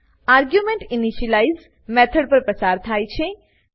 argument initialize method પર પસાર થાય છે